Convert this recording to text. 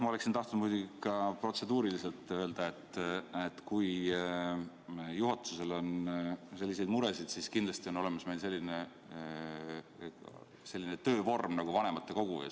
Ma oleksin tahtnud ka protseduurilise märkusena öelda, et kui juhatusel on selliseid muresid, siis meil on olemas selline töövorm nagu vanematekogu.